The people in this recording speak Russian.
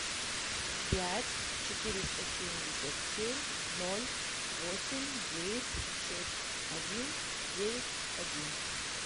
пять четыреста семьдесят семь ноль восемь девять шесть один девять один